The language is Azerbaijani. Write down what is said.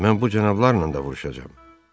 Mən bu cənablarla da vuruşacam.